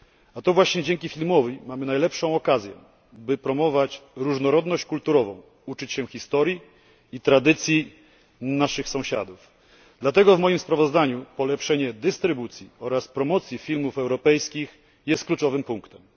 A to właśnie dzięki filmowi mamy najlepszą okazję, by promować różnorodność kulturową, uczyć się historii i tradycji naszych sąsiadów. Dlatego w moim sprawozdaniu polepszenie dystrybucji oraz promocji filmów europejskich jest kluczowym punktem.